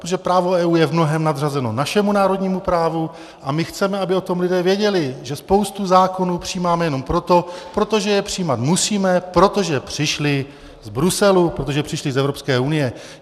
Protože právo EU je v mnohém nadřazeno našemu národnímu právu a my chceme, aby o tom lidé věděli, že spoustu zákonů přijímáme jenom proto, protože je přijímat musíme, protože přišly z Bruselu, protože přišly z Evropské unie.